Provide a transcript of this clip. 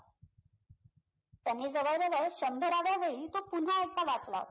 त्यांनी जवळ जवळ शंभराव्यावेळी तो पुन्हा एकदा वाचला